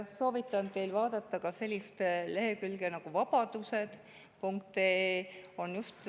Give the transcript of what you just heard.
Soovitan teil vaadata sellist lehekülge nagu vabadused.ee.